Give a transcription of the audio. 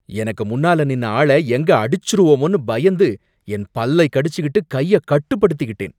எனக்கு முன்னால நின்ன ஆள எங்க அடிச்சிருவோமோன்னு பயந்து என் பல்லை கடிச்சுக்கிட்டு கைய கட்டுப்படுத்திக்கிட்டேன்